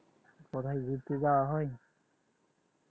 কোথায় ঘুরতে যাওয়া হয়